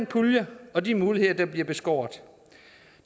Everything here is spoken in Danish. pulje og de muligheder der nu bliver beskåret